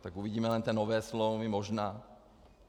Tak uvidíme jen ty nové smlouvy možná...